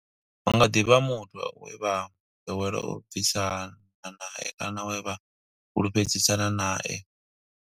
Hu nga ḓi vha muthu we vha ḓowela u ḓibvisa nae kana we vha fhulufhedzisana nae.